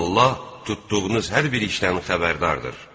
Allah tutduğunuz hər bir işdən xəbərdardır.